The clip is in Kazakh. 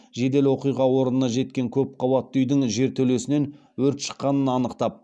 жедел оқиға орнына жеткен көпқабатты үйдің жертөлесінен өрт шыққанын анықтап